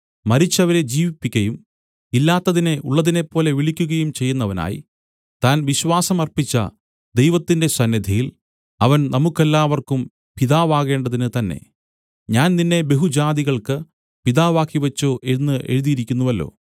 മരിച്ചവരെ ജീവിപ്പിക്കയും ഇല്ലാത്തതിനെ ഉള്ളതിനെപ്പോലെ വിളിക്കുകയും ചെയ്യുന്നവനായി താൻ വിശ്വാസം അർപ്പിച്ച ദൈവത്തിന്റെ സന്നിധിയിൽ അവൻ നമുക്കെല്ലാവർക്കും പിതാവാകേണ്ടതിന് തന്നേ ഞാൻ നിന്നെ ബഹുജാതികൾക്കു പിതാവാക്കിവെച്ചു എന്നു എഴുതിയിരിക്കുന്നുവല്ലോ